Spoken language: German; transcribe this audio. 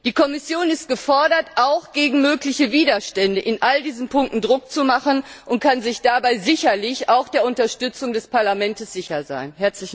Die Kommission ist gefordert, auch gegen mögliche Widerstände in all diesen Punkten Druck auszuüben, und kann sich dabei sicherlich auch der Unterstützung des Parlaments sicher sein.